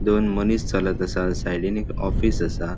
दोन मनीस चलत असा साइडीन एक ऑफिस असा.